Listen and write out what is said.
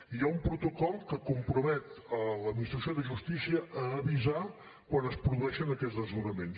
hi ha un protocol que compromet l’administració de justícia a avisar quan es produeixen aquests desnonaments